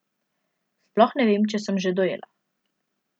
Sploh ne vem, če sem že dojela.